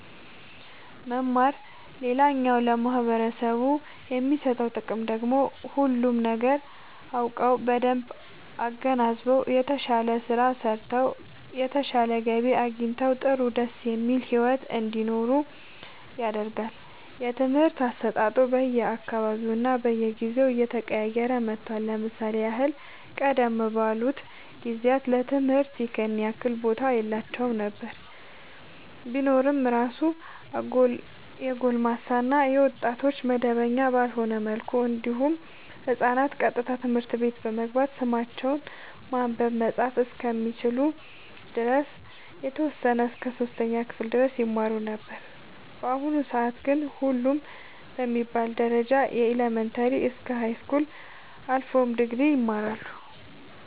መማር ሌላኛው ለማህበረሰቡ የሚሰጠው ጥቅም ደግሞ ሁሉንም ነገር አውቀው በደንብ አገናዝበው የተሻለ ስራ ሰርተው የተሻለ ገቢ አግኝተው ጥሩ ደስ የሚል ሒወት እንዲኖሩ ያደርጋቸዋል። የትምህርት አሰጣጡ በየ አካባቢውና በየጊዜው እየተቀያየረ መጥቷል ለምሳሌ ያህል ቀደም ባሉት ጊዜያት ለትምህርት ይኸን ያህል ቦታ የላቸውም ነበር ቢኖር እራሱ የጎልማሳ እና የወጣቶች መደበኛ ባልሆነ መልኩ እንዲሁም ህፃናት ቀጥታ ትምህርት ቤት በመግባት ስማቸውን ማንበብ መፃፍ እስከሚችሉ ድረስ የተወሰነ እስከ 3ኛ ክፍል ድረስ ይማሩ ነበር በአሁኑ ሰአት ግን ሁሉም በሚባል ደረጃ ከኢለመንታሪ እስከ ሀይስኩል አልፎም ድግሪ ይማራሉ